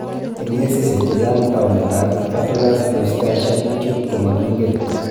Eng' kesishek chechang', taunetab patulous eustachian tube ko makingen.